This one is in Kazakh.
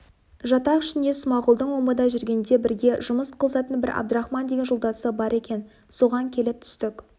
жатақ ішінде смағұлдың омбыда жүргенде бірге жұмыс қылысатын бір әбдірахман деген жолдасы бар екен соған келіп түстік